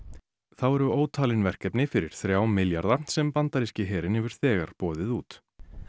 þá eru ótalin verkefni fyrir þrjá milljarða sem bandaríski herinn hefur þegar boðið út